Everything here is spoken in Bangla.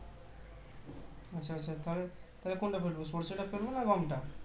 আচ্ছা আচ্ছা তাহলে তাহলে কোনটা ফেলবো সর্ষেটা ফেলবো না গমটা